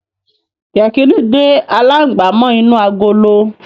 Yẹkìnì dé alangba mó inú àgọlọ.